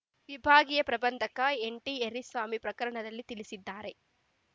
ವಿಭಾಗೀಯ ಪ್ರಬಂಧಕ ಎನ್‌ಟಿಎರ್ರಿಸ್ವಾಮಿ ಪ್ರಕಟಣೆಯಲ್ಲಿ ತಿಳಿಸಿದ್ದಾರೆ